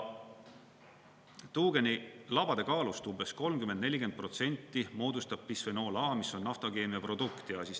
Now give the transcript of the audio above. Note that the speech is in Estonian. Tuugeni labade kaalust umbes 30–40% moodustab bisfenool A, mis on naftakeemia produkt.